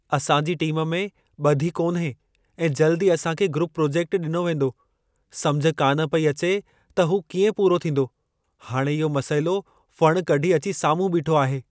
असांजी टीम में ॿधी कोन्हे ऐं जल्दु ई असांखे ग्रुप प्रोजेक्टु डि॒नो वेंदो। समुझ कान पेई अचे त हू कीएं पूरो थींदो. हाणे इहो मसइलो फणि कढी अची साम्हूं बीठो आहे।